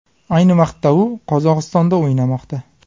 Ayni vaqtda u Qozog‘istonda o‘ynamoqda.